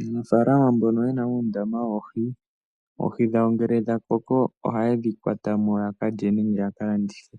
Aanafaalama mbono ye na uundama woohi, oohi dhawo ngele dha koko ohaye dhi kwata mo ya ka lye nengeya ka landithe.